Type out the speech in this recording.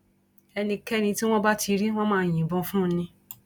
ẹnikẹni tí wọn bá ti rí wọn máa yìnbọn fún un ni